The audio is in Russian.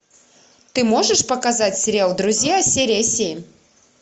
ты можешь показать сериал друзья серия семь